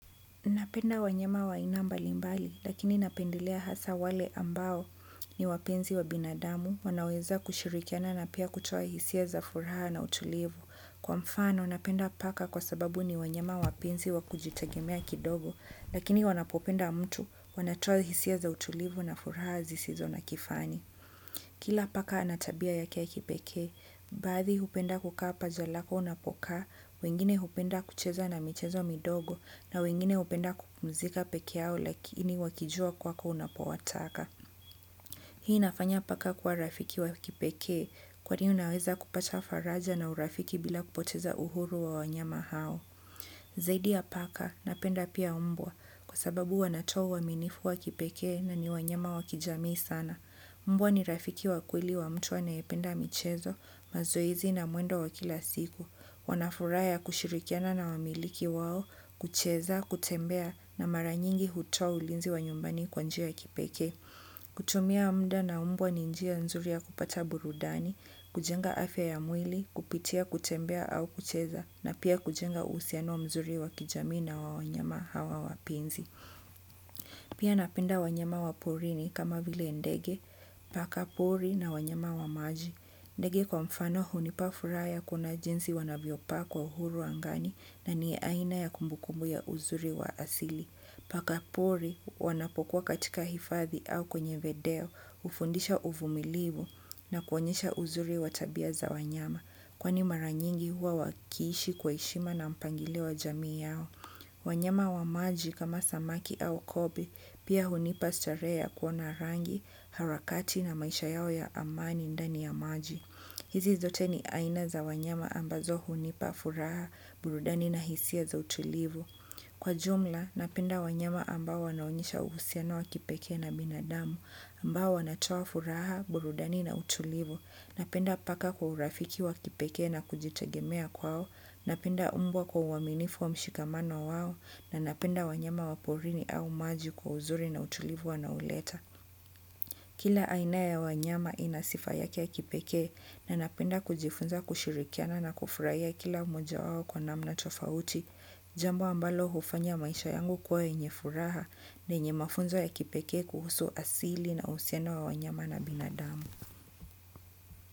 Napenda wanyama wa aina mbali mbali, lakini napendelea hasa wale ambao ni wapenzi wa binadamu, wanaweza kushirikiana na pia kutoa hisia za furaha na utulivu. Kwa mfano, napenda paka kwa sababu ni wanyama wapenzi wa kujitegemea kidogo, lakini wanapopenda mtu, wanatoa hisia za utulivu na furaha zisizo na kifani. Kila paka anatabia yake ya kipekee baadhi hupenda kukaa paja lako unapokaa, wengine hupenda kucheza na michezo midogo na wengine hupenda kupumzika pekeyao lakini wakijua kwako unapowataka. Hii inafanya paka kuwa rafiki wa kipekee, kwani unaweza kupata faraja na urafiki bila kupoteza uhuru wa wanyama hao. Zaidi ya paka napenda pia mbwa kwasababu wanatoa uaminifu wa kipekee na ni wanyama wa kijamii sana. Mbwa ni rafiki wa kweli wa mtu anayependa michezo, mazoezi na mwendo wa kila siku. Wanafuraha ya kushirikiana na wamiliki wao kucheza kutembea na mara nyingi hutoa ulinzi wa nyumbani kwa njia ya kipekee. Kutumia mda na mbwa ni njia nzuri ya kupata burudani, kujenga afya ya mwili, kupitia kutembea au kucheza na pia kujenga uhusiano mzuri wa kijamii na wanyama hawa wapenzi. Pia napenda wanyama wa porini kama vile ndege, pakapuri na wanyama wamaji. Ndege kwa mfano huni pa furaha ya kuna jinsi wanavyo paa kwa uhuru angani na ni aina ya kumbukumbu ya uzuri wa asili. Pakapuri wanapokuwa katika hifadhi au kwenye vedeo, hufundisha uvumilivu na kuonyesha uzuri watabia za wanyama. Kwani maranyingi huwa wakiishi kwa heshima na mpangilio wa jamii yao. Wanyama wa maji kama samaki au kobe pia hunipa starehe ya kuona rangu harakati na maisha yao ya amani ndani ya maji. Hizi zote ni aina za wanyama ambazo hunipa furaha burudani na hisia za utulivu. Kwa jumla, napenda wanyama ambao wanaonyesha uhusiano wa kipeke na binadamu, ambao wanatoa furaha, burudani na utulivu, napenda paka kwa urafiki wa kipeke na kujitegemea kwao, napenda umbwa kwa uaminifu wa mshikamano wao, na napenda wanyama waporini au maji kwa uzuri na utulivu wanaoleta. Kila aina ya wanyama inasifayake ya kipeke na napenda kujifunza kushirikiana na kufuraya kila moja wao kwa namna tofauti, jambo ambalo hufanya maisha yangu kuwa yenye furaha, lenye mafunzo ya kipeke kuhusu asili na usiano wa wanyama na binadamu.